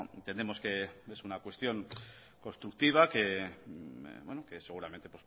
entendemos que es una cuestión constructiva que seguramente